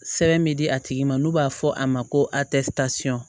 Sɛbɛn bɛ di a tigi ma n'o b'a fɔ a ma ko